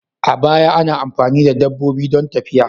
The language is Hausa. A baya, ana amfani da dabbobi don tafiya.